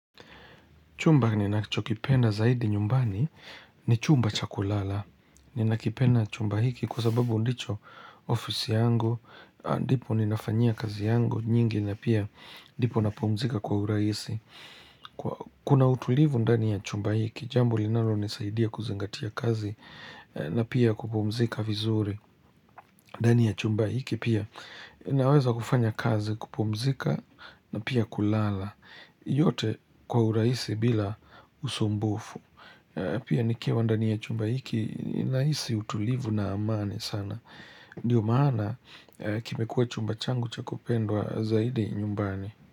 Chumba ninakichokipenda zaidi nyumbani ni chumba cha kulala. Ninakipenda chumba hiki kwa sababu ndicho ofisi yangu, ndipo ninafanyia kazi yangu nyingi na pia ndipo napumzika kwa urahisi. Kuna utulivu ndani ya chumba hiki, jambo linalonisaidia kuzingatia kazi na pia kupumzika vizuri. Ndani ya chumba hiki pia ninaweza kufanya kazi kupumzika na pia kulala. Yote kwa urahisi bila usumbufu. Pia nikiwa ndani ya chumba hiki ninahisi utulivu na amani sana. Ndiyo maana kimekuwa chumba changu cha kupendwa zaidi nyumbani.